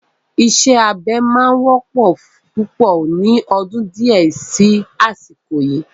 Ìṣe abẹ máa wọ́pọ̀ púpọ̀ ni ọdún di ẹ sì asiko yii